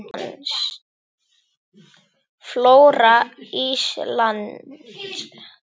Flóra Íslands